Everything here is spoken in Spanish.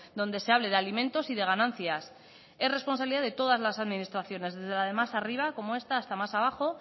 donde se hable de alimentos y de ganancias es responsabilidad de todas las administraciones desde la de más arriba como esta hasta más abajo